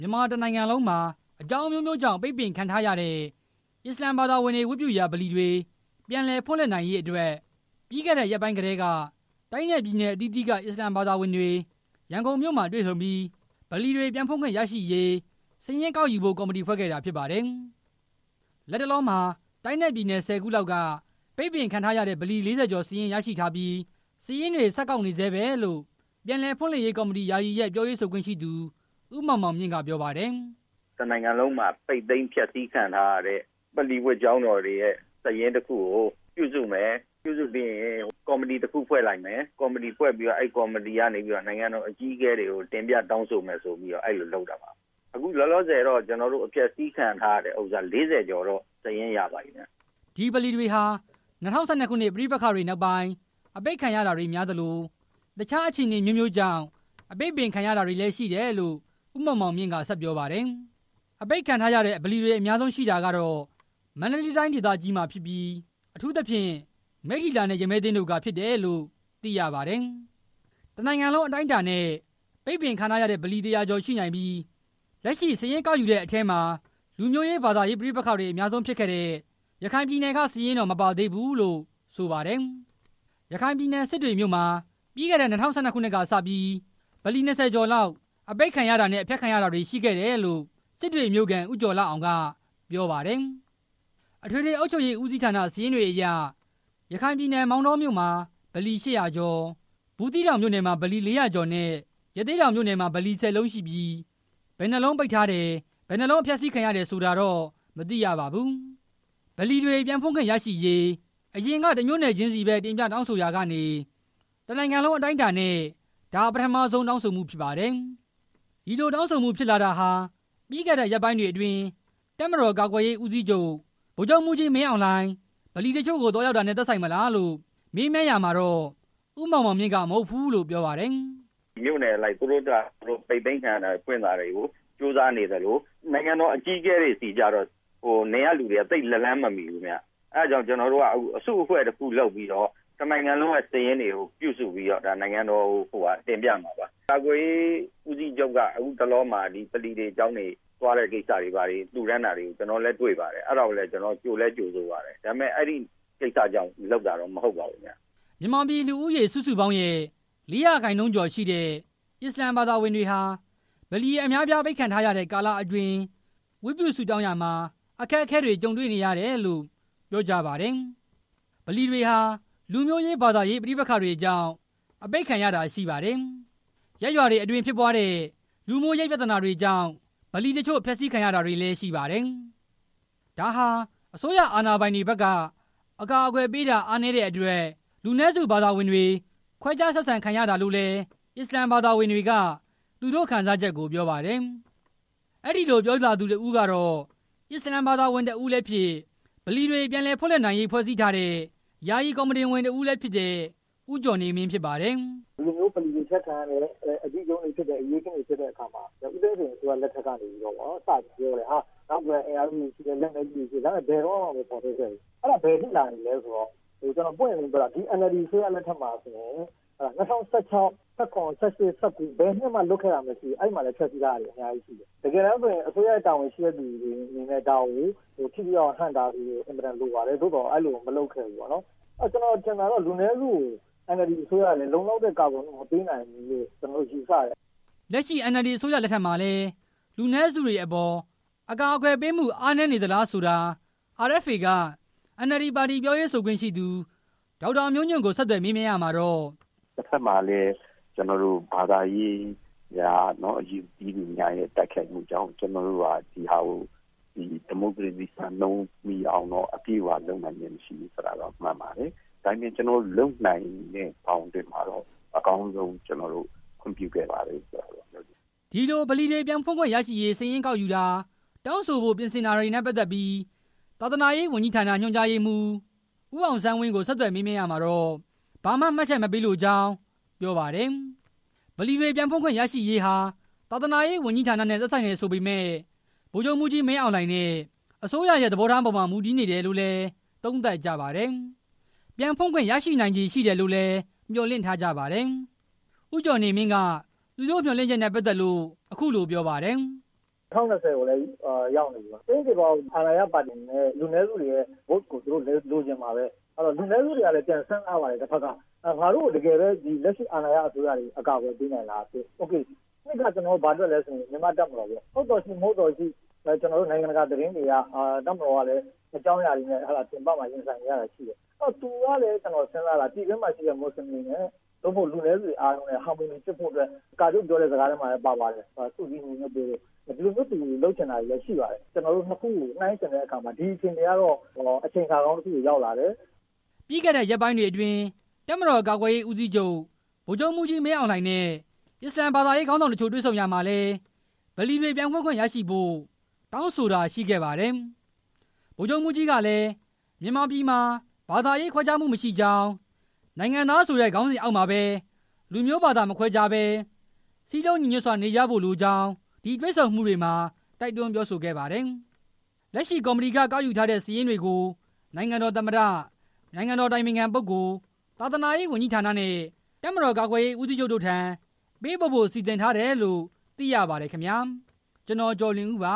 ြန်မာတစ်နိုင်ငံလုံးမှာ အကြောင်းအမျိုးမျိုးကြောင့် ပိတ်ပင်ခံထားရတဲ့ အစ္စလာမ်ဘာသာဝင်တွေ ဝတ်ပြုရာဗလီတွေ ပြန်လည် ဖွင့်လှစ်နိုင်ရေးအတွက် ပြီးခဲ့တဲ့ရက်ပိုင်းကတည်းက တိုင်းနဲ့ပြည်နယ် အသီးသီးက အစ္စလာမ်ဘာသာဝင်တွေ ရန်ကုန်မြို့မှာတွေဆုံပြီး ဗလီတွေပြန်ဖွင့်ခွင့်ရရှိရေး စာရင်းကောက်ယူဖို့ ကော်မတီ ဖွဲ့ခဲ့တာဖြစ်ပါတယ်။ လတ်တလောမှာ တိုင်းနဲ့ပြည်နယ် ၁၀ ခုလောက်က ပိတ်ပင်ခံထားရတဲ့ ဗလီ ၄၀ ကျော်စာရင်း ရရှိထားပြီး စာရင်းတွေဆက်ကောက်နေဆဲပဲလို့ ပြန်လည်ဖွင့်လှစ်ရေးကော်မတီ (ယာယီ)ရဲ့ ပြောရေးဆိုခွင့်ရှိသူ ဦးမောင်မောင်မြင့်က ပြောပါတယ်။ "တစ်နိုင်ငံလုံးမှာ အပိတ်သိမ်းအဖျက်စီးခံထားရတဲ့ ဗလီဝတ်ကျောင်းတော်တွေရဲ့ စာရင်းတစ်ခုကို ပြုစုမယ်၊ ပြုစုပြီးရင် ကော်မတီတစ်ခုဖွဲ့လိုက်မယ်။ ပြီးရင် အဲကော်မတီကနေ နိုင်ငံတော်အကြီးအကဲတွေဆီ တင်ပြတောင်းဆိုမယ်ဆိုပြီးတော့ အဲလိုလုပ်တာပါ၊ အခုလောလောဆယ်တော့ အပျက်စီးခံထားရတဲ့ ဗလီ ၄၀ ကျော် စာရင်းရထားပါတယ်ခင်ဗျ" ဒီဗလီတွေဟာ ၂၀၁၂ ပဋိပက္ခတွေနောက်ပိုင်း အပိတ်ခံရတာတွေများသလို၊ တခြား အခြေအနေအမျိုးမျိုးကြောင့် ပိတ်ပင်ခံရတာတွေလည်း ရှိတယ်လို့ ဦးမောင်မောင်မြင့်က ဆက်ပြောပါတယ်။ အပိတ်ခံရတဲ့ ဗလီအများဆုံးရှိတာကတော့ မန္တလေးတိုင်းဒေသကြီးမှာ ဖြစ်ပြီး အထူးသဖြင့် မိတ္ထီလာနဲ့ ရမည်းသင်းတို့က ဖြစ်တယ်လို့ သိရပါတယ်။ တစ်နိုင်ငံလုံးအတိုင်းအတာနဲ့ ပိတ်ပင်ခံထားရတဲ့ ဗလီ ၁၀၀ကျော် ရှိနိုင်ပြီး လက်ရှိ စာရင်းကောက်ယူတဲ့အထဲမှာ လူမျိုးရေး၊ ဘာသာရေးပဋိပက္ခတွေ အများဆုံးဖြစ်ခဲ့တဲ့ ရခိုင်ပြည်နယ်က စာရင်းတော့ မပါသေးဘူးလို့ ဆိုပါတယ်။ ရခိုင်ပြည်နယ် စစ်တွေမြို့မှာ ပြီးခဲ့တဲ့ ၂၀၁၂ ကစပြီး ဗလီ ၂၀ ကျော်လောက် ပိတ်ခဲ့ရတာနဲ့ ဖျက်ခံခဲ့ရတာတွေရှိခဲ့တယ်လို့ စစ်တွေမြို့ခံ ဦးကျော်လှအောင် က ပြောပါတယ် အထွေထွေအုပ်ချုပ်ရေးဦးစီးဌာန စာရင်းတွေအရ ရခိုင်ပြည်နယ် မောင်တောမြို့မှာ ဗလီ ၈၀၀ ကျော်၊ ဘူးသီးတောင်မြို့နယ်မှာ ဗလီ ၄၀၀ ကျော်နဲ့ ရသေ့တောင်မြို့နယ်မှာ ဗလီ ၁၀ လုံးရှိပြီး ဘယ်နှစ်လုံးပိတ်ထားတယ်၊ ဘယ်နှစ်လုံးဖျက်စီးခံရတယ်ဆိုတာတော့ မသိရပါဘူး။ ဗလီတွေ ပြန်ဖွင့်ခွင့်ရရေး အရင်က တစ်မြို့နယ်ချင်းစီပဲ တင်ပြတောင်းဆိုခဲ့ရာကနေ တစ်နိုင်ငံလုံး အတိုင်းအတာနဲ့ ဒါပထမဆုံး တောင်းဆိုမှုဖြစ်ပါတယ်။ ဒီလိုတောင်းဆိုဖို့ ဖြစ်လာတာဟာ ပြီးခဲ့တဲ့ရက်ပိုင်းတွေအတွင်း တပ်မတော်ကာကွယ်ရေးဦးစီးချုပ် ဗိုလ်ချုပ်မှူးကြီး မင်းအောင်လှိုင်- ဗလီတချို့ကို သွားရောက်တာတွေနဲ့ သက်ဆိုင်မလားလို့ မေးမြန်းရာမှာတော့ ဦးမောင်မောင်မြင့်က မဟုတ်ဘူးလို့ ပြောပါတယ်။ "မြို့နယ်အလိုက် ပိတ်သိမ်းတာတွေကို သူတို့ဘာသူတို့ ကြိုးစားနေသလို နိုင်ငံတော်အကြီးအကဲတွေဆီကျ သူတို့က လက်လှမ်းမမှီဘူး၊ အဲဒါကြောင့် ကျနော်တို့က အစုအဖွဲ့လုပ်ပြီး တစ်နိုင်ငံလုံးက စာရင်းတွေကိုပြုစုပြီး နိုင်ငံတော်ကိုတင်ပြမှာပါ၊ ကာကွယ်ရေးဦးစီးချုပ်က ခုတလောမှာ ဗလီတွေ၊ ကျောင်းတွေသွားတဲ့ကိစ္စတွေ၊ လှူဒါန်းတာတွေ၊ ကျနော်တို့လည်း တွေ့ပါတယ်၊ ကျနော်တို့လည်း ကြိုဆိုလည်းကြိုဆိုပါတယ်၊ ဒါပေမဲ့ အဲကိစ္စကြောင့်လုပ်တာတော့မဟုတ်ပါဘူး" မြန်မာပြည် လူဦးရေ စုစုပေါင်းရဲ့ လေးရာခိုင်နှုန်းကျော်ရှိတဲ့ အစ္စလာမ်ဘာသာဝင်တွေဟာ ဗလီ အများအပြား အပိတ်ခံထားရတဲ့ကာလအတွင်း ဝတ်ပြုဆုတောင်းရာမှာ အခက်အခဲတွေ ကြုံတေ့ွနေရတယ်လို့ ပြောကြပါတယ်။ ဗလီတွေဟာ လူမျိုးရေး၊ ဘာသာရေးပဋိပက္ခတွေကြောင့် အပိတ်ခံရတာ ရှိပါတယ်။ ရပ်ရွာတွေအတွင်း ဖြစ်ပွားတဲ့ လူမှုရေးပြဿနာတွေကြောင့် ဗလီတချို့ ဖျက်ဆီးခံရတာလည်း ရှိပါတယ်။ ဒါဟာ အစိုးရအာဏာပိုင်တွေဘက်က အကာအကွယ်ပေးတာ အားနည်းတဲ့အတွက် လူနည်းစုဘာသာဝင်တွေ ခွဲခြားဆက်ဆံခံရတာလို့လည်း အစ္စလာမ်ဘာသာဝင်တွေက သူတို့ခံစားချက်ကို ပြောပါတယ်။ အဲဒီလို ပြောလာသူတစ်ဦးကတော့ အစ္စလာမ် ဘာသာဝင်တစ်ဦးလည်းဖြစ်၊ ဗလီတွေ ပြန်လည်ဖွင့်လှစ်နိုင်ရေးဖွဲ့စည်းထားတဲ့ ယာယီကော်မတီဝင်တစ်ဦးလည်းဖြစ်တဲ့ ဦးကျော်နေမင်း ဖြစ်ပါတယ်။ "ဒီလိုမျိုး ဗလီတွေအပျက်ခံရတယ်၊ အထိကရုဏ်းတွေဖြစ်တယ် အရေးအခင်းတွေဖြစ်တဲ့အခါမှာ ဦးသိန်းစိန်အစိုးရလက်ထက်မှာ စပြောတယ် ၊ နောက်ကွယ်က အင်းအားစုတွေရှိတယ်၊ လက်မဲကြီးတွေရှိတယ်။ ဒါပေမဲ့ ဘယ်တုန်းကမှ မဖော်ထုတ်ခဲ့ဘူး၊ အဲဒါ ဘယ်အထိလာလည်းဆိုတော့ ကျနော် ပွင့်ပွင့်လင်းလင်းပြောတာ NLD အစိုးရလက်ထက်မှာဆိုရင် ၂၀၁၆၊၂၀၁၇၊၂၀၁၈၊ ၂၀၁၉ ဘယ်နှစ်မှလွတ်တာမရှိဘူး။ အဲမှာလည်းဖျက်စီးထားတာ အများကြီးရှိတယ်၊ တကယ်တမ်းဆိုရင် အစိုးရတာဝန်ရှိတဲ့သူတွေအနေနဲ့ ဒါကို ထိထိရောက်ရောက် ဟန့်တားဖို့လိုတယ် သို့သော် အဲလိုမလုပ်ခဲ့ဘူး၊ ကျနော်ထင်တာတော့ လူနည်းစုတွေကို NLDအစိုးရအနေနဲ့ လုံလောက်တဲ့ အကာအကွယ်မပေးနိုင်ဘူးလို့ ယူဆတယ်" လက်ရှိ NLD အစိုးရလက်ထက်မှာလည်း လူနည်းစုတွေအပေါ် အကာအကွယ်ပေးမှု အားနည်းနေသလားဆိုတာ RFA က NLD ပါတီပြောရေးဆိုခွင့်ရှိသူ ဒေါက်တာ မျိုးညွန့်ကို ဆက်သွယ်မေးမြန်းရာမှာတော့--- "တစ်ဘက်မှာလည်း ဘာသာရေးအရ အယူသီးသူများရဲ့ တိုက်ခိုက်မှုကြောင့် ကျနော်တို့က ဒီဟာကို ဒီမိုကရေစီစံနှုန်းအရ ပြည့်ဝအောင်လုပ်နိုင်ခြင်းမရှိဘူးဆိုတာ မှန်ပါတယ်၊ ဒါပေမဲ့ ကျနော်တို့လုပ်နိုင်တဲ့ ဘောင်အတွင်းမှာတော့ ကျနော်တို့ အကောင်းဆုံးခွင့်ပြုခဲ့တယ်လို့တော့ ပြောချင်ပါတယ်" ဒီလိုဗလီတွေ ပြန်ဖွင့်ခွင့်ရရေး စာရင်းကောက်ယူတာ၊ တောင်းဆိုဖိ့ုပြင်ဆင်နေတာတွေနဲ့ ပတ်သက်ပြီး သာသနာရေးဝန်ကြီးဌာန ညွှန်ကြားရေးမှူး ဦးအောင်ဆန်းဝင်းကို ဆက်သွယ်မေးမြန်းရာမှာတော့ ဘာမှမှတ်ချက်မပေးလိုကြောင်း ပြောပါတယ်။ ဗလီတွေပြန်ဖွင့်ခွင့် ရရေးဟာ သာသနာရေးဝန်ကြီးဌာနနဲ့ သက်ဆိုင်တယ်ဆိုပေမယ့် ဗိုလ်ချုပ်မှူးကြီး မင်းအောင်လှိုင် နဲ့ အစိုးရရဲ့ သဘောထားအပေါ်မှာ မူတည်နေတယ်လို့လည်း သုံးသပ်ကြပါတယ်။ ပြန်ဖွင့်ခွင့် ရရှိနိုင်ခြေရှိတယ်လို့လည်း မျှော်လင့်ထားကြပါတယ်။ ဦးကျော်နေမင်းက သူတို့မျှော်လင့်ချက်နဲ့ပတ်သက်လို့ အခုလိုပြောပါတယ်။ "၂၀၂၀ကိုလည်းရောက်လာပြီ။ ကျိန်သေပေါက် အာဏာရပါတီအနေနဲ့ လူနည်းစုတွေရဲ့ မဲကိုလိုချင်မှာဘဲ၊ လူနည်းစုတွေကလည်း တစ်ဘက်က ပြန်စဉ်းစားပါတယ်၊ ငါတို့ကို လက်ရှိအာဏာရအစိုးရက တကယ်ပဲ အကာအကွယ်ပေးနိုင်လား၊ နှစ်က ကျနော်တို့ ဘာတွက်လည်းဆိုတော့ တပ်မတော်ပေါ့၊ ဟုတ်သော်ရှိ မဟုတ်သော်ရှိ၊ နိုင်ငံတကာသတင်းတွေအရ တပ်မတော်ကလည်း အကြောင်းအရာတွေနဲ့ ပြင်ပမှာ ရင်ဆိုင်နေရတာရှိတယ်၊ သူကလည်း ကျနော်စဉ်းစာတာ ပြည်တွင်းမှာရှိတဲ့ မွတ်စလင်တွေနဲ့ လူနည်းစုတွေအားလုံးနဲ့ ဟာမိုနီဖြစ်ဖို့ ကာချုပ်ပြောတဲ့အထဲမှာလည်း ပါပါတယ်၊ သွေးစည်းညီညွတ်ဖို့ သူကဒီလိုမျိုးလုပ်ချင်တာတွေရှိပါတယ်၊ နှစ်ခုနှိုင်းယှဉ်တဲ့အခါမှာ ဒီအခြေအနေကတော့ အချိန်အခါကောင်းတစ်ခုကို ရောက်လာတယ်" ပြီးခဲ့တဲ့ ရက်ပိုင်းတွေအတွင်း တပ်မတော်ကာကွယ်ရေးဦးစီးချုပ် ဗိုလ်ချုပ်မှူးကြီး မင်းအောင်လှိုင်နဲ့ အစ္စလာမ်ဘာသာရေးခေါင်းဆောင်တချို့ တွေ့ဆုံရာမှာလည်း ဗလီတွေပြန်ဖွင့်ခွင့် ရရှိဖို့ တောင်းဆိုတာ ရှိခဲ့ပါတယ်။ ဗိုလ်ချုပ်မှူးကြီးကလည်း မြန်မာပြည်မှာ ဘာသာရေးခွဲခြားမှုမရှိကြောင်း၊ နိုင်ငံသားဆိုတဲ့ ခေါင်းဆောင်အောက်မှာပဲ လူမျိုးဘာသာမခွဲခြားဘဲ စည်းလုံးညီညွတ်စွာနေကြဖို့ လိုကြောင်း ဒီတေ့ွဆုံမှုတွေမှာ တိုက်တွန်းပြောဆိုခဲ့ပါတယ်။ လက်ရှိကော်မတီက ကောက်ယူရရှိထားတဲ့ စာရင်းတွေကို နိုင်ငံတော် သမ္မတ၊ နိုင်ငံတော် အတိုင်ပင်ခံပုဂ္ဂိုလ်၊ သာသာရေးဝန်ကြီးဌာနနဲ့ တပ်မတော်ကာကွယ်ရေးဦးစီးချုပ်တို့ထံ ပေးပို့ဖို့ စီစဉ်ထားတယ်လို့ သိရပါတယ်ခင်ဗျာ။ (RFA သတင်းထောက် ကိုကျော်လွင်ဦး ပ